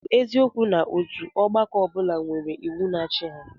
Ọ bụ eziokwu na otu ọgbakọ ọ bụla nwere iwu na-achị ha?